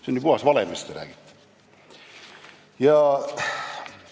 See on ju puhas vale, mis te räägite!